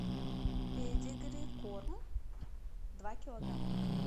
педигри корм два килограмма